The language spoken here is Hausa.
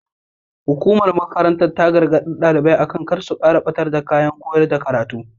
Hukumar makarantar ta gargaɗi ɗalibai akan kar su kuma ɓatar da kayan koya karatu.